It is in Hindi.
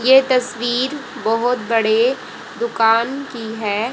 ये तस्वीर बहोत बड़े दुकान की है।